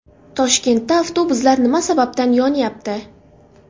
Toshkentda avtobuslar nima sababdan yonyapti?